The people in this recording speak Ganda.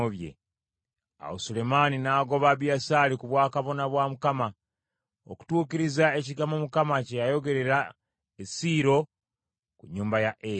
Awo Sulemaani n’agoba Abiyasaali ku bwakabona bwa Mukama , okutuukiriza ekigambo Mukama kye yayogerera e Siiro ku nnyumba ya Eri.